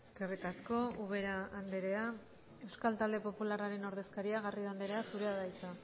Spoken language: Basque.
eskerrik asko ubera andrea euskal talde popularraren ordezkaria garrido andrea zurea da hitza